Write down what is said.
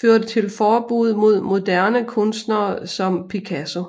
førte til forbud mod moderne kunstnere som Picasso